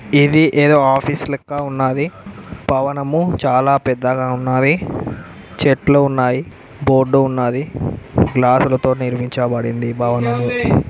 ఇది ఏదో ఆఫీసు లెక్క ఉన్నాది భవనము చాలా పెద్దగా ఉన్నవి చెట్లు ఉన్నాయి బోర్డు ఉన్నది గ్లాసు లతో నిర్మించబడింది ఈ భవనము.